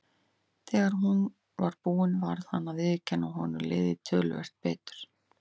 Þegar hún var búin varð hann að viðurkenna að honum liði töluvert betur.